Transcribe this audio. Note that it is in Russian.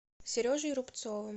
сережей рубцовым